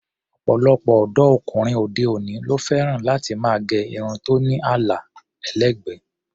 Ọ̀pọ̀lọpọ̀ ọ̀dọ́ ọkùnrin òde-òní ló fẹ́ràn láti máa gẹ irun tó ní àlà ẹlẹ́gbẹ̀ẹ́.